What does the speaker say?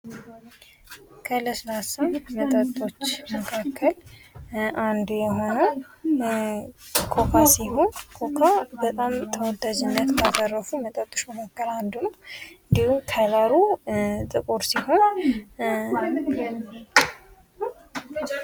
ከለስላሳ መጠጦች መካከል አንዶ ሆነው ኮካ ሲሆን ኮካ በጣም ተወዳጅነህ ካደረፉ መጠጦች መካከል አንዱም እንዲሁም ከለሩ ጥቁር ሲሆን